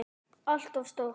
ALLT OF STÓR!